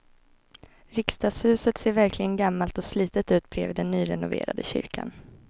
Riksdagshuset ser verkligen gammalt och slitet ut bredvid den nyrenoverade kyrkan.